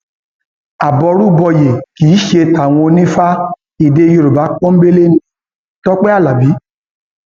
aboru bòye kì í ṣe tàwọn onífà èdè yorùbá pọnńbélé ní tọpẹ alábì